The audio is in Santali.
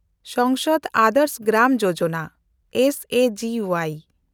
Sansad Adarsh Gram Yojana (S A G Y)